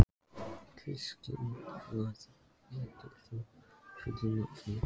Kristný, hvað heitir þú fullu nafni?